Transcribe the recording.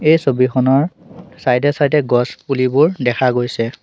এই ছবিখনৰ চাইডে চাইডে গছপুলিবোৰ দেখা গৈছে।